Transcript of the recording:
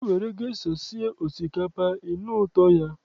I nwere gesha sie osikapa, ị nụ ụtọ ya.